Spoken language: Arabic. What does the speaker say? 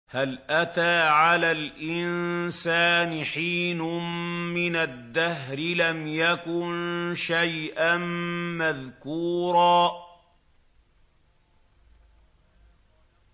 هَلْ أَتَىٰ عَلَى الْإِنسَانِ حِينٌ مِّنَ الدَّهْرِ لَمْ يَكُن شَيْئًا مَّذْكُورًا